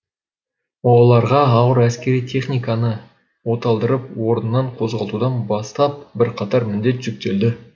оларға ауыр әскери техниканы оталдырып орнынан қозғалтудан бастап бірқатар міндет жүктелді